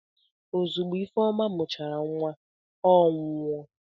Ozugbo Ifeoma mụchara nwa, ọ nwụọ.